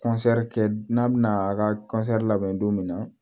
kɛ n'a bɛna a ka labɛn don min na